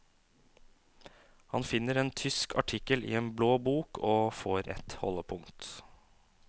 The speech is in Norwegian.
Han finner en tysk artikkel i en blå bok, og får et holdepunkt.